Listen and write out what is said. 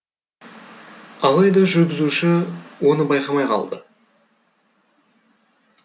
алайда жүргізуші оны байқамай қалды